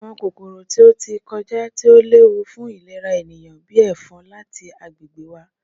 Pa awọn kokoro ti o ti kọja ti o lewu fun ilera eniyan, bii “efon,” lati agbegbe wa!